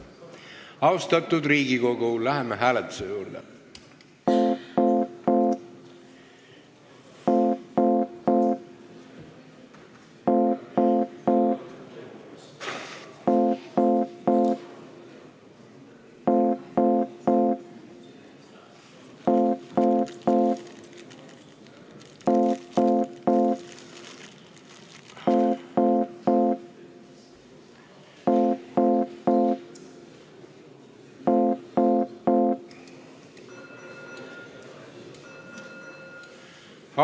Austatud Riigikogu, läheme hääletuse juurde!